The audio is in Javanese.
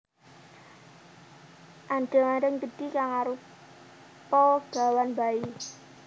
Andheng andheng gedhi kang arupa gawan bayi